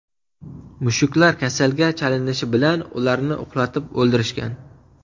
Mushuklar kasalga chalinishi bilan, ularni uxlatib o‘ldirishgan.